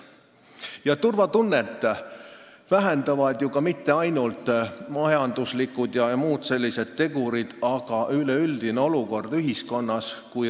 Inimeste turvatunnet ei vähenda mitte ainult majanduslikud jms tegurid, vaid ka üleüldine olukord ühiskonnas.